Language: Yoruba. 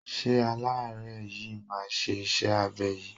Ṣé aláárẹ̀ yìí máa ye iṣẹ́ abẹ yìí?